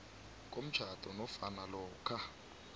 komtjhado nofana lokha